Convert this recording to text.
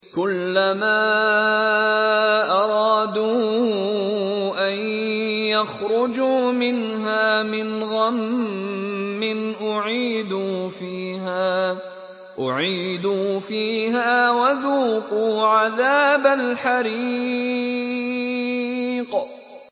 كُلَّمَا أَرَادُوا أَن يَخْرُجُوا مِنْهَا مِنْ غَمٍّ أُعِيدُوا فِيهَا وَذُوقُوا عَذَابَ الْحَرِيقِ